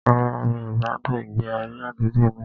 Rárá, mi ò gbádùn ìgbé ayé àdúgbò náà